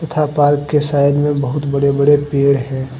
Park के side में बहुत बड़े बड़े पेड़ है।